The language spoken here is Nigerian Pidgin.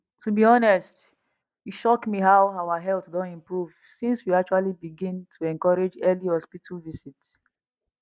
to be honest e shock me how our health don improve since we actually begin to encourage early hospital visit